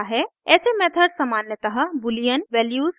ऐसे मेथड्स सामान्यतः boolean values return करने में उपयोग होते हैं